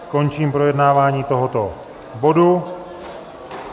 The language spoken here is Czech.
Končím projednávání tohoto bodu.